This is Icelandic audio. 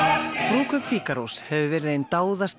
brúðkaup hefur verið ein